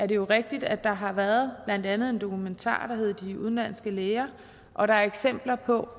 det jo rigtigt at der har været blandt andet en dokumentar der hedder de udenlandske læger og der er eksempler på